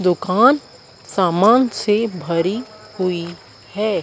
दुकान सामान से भरी हुई है।